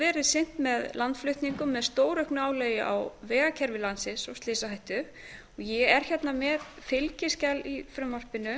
verið sinnt með landflutningum með stórauknu álagi á vegakerfi landsins og slysahættu ég er hérna með fylgiskjal í frumvarpinu